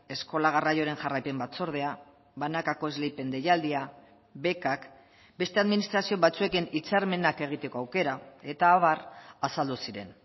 eskola garraioaren jarraipen batzordea banakako esleipen deialdia bekak beste administrazio batzuekin hitzarmenak egiteko aukera eta abar azaldu ziren